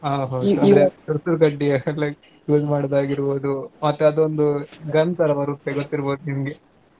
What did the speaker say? ಹಾ ಹೌದ್ . ಸುರ್ಸುರ್ ಕಡ್ಡಿ use ಮಾಡೋದಾಗಿರ್ಬೌದು. ಮತ್ತೆ ಅದೊಂದು gun ತರಾ ಬರುತ್ತೆ ಗೊತ್ತಿರ್ಬೇಕ್ ನಿಮ್ಗೆ.